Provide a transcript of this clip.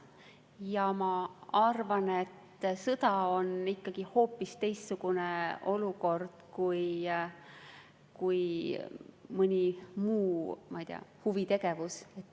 Ja ma arvan, et sõda on ikkagi hoopis teistsugune olukord kui näiteks, ma ei tea, huvitegevus.